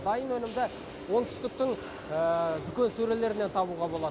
дайын өнімді оңтүстіктің дүкен сөрелерінен табуға болады